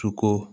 Sogo